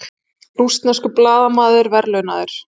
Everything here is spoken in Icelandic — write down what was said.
Rússneskur blaðamaður verðlaunaður